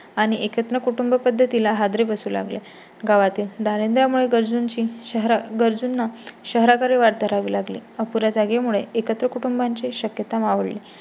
आणि एकत्र कुटुंबपद्धती ला हादरे बसू लागले गावातील. दांरिद्रयामुळे मुळे गरजुंची शहरा गरजुंना शहराकडे वाट धरावी लागली. अपुऱ्या जागे मुळे एकत्र कुटुंबा ची शक्यता मावळली.